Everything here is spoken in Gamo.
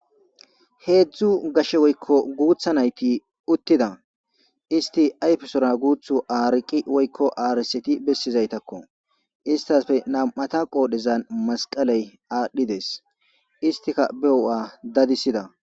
Heedzdzu gashe woykko guuththa naythi uttida; isththi ayfesora guuthu aariqi woykko aarisseti bessizaytakko; isththappe nam7ata qoodhezan masqaley aadhdhi des; isththika bewu7a dadissida.